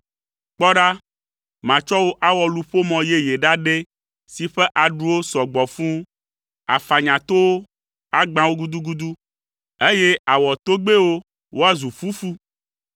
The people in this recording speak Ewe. “Kpɔ ɖa, matsɔ wò awɔ luƒomɔ yeye ɖaɖɛ si ƒe aɖuwo sɔ gbɔ fũu. Àfanya towo, agbã wo gudugudu, eye àwɔ togbɛwo woazu fufu.